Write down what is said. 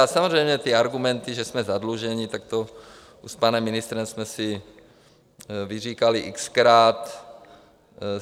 A samozřejmě ty argumenty, že jsme zadlužení, tak to s panem ministrem jsme si vyříkali x-krát.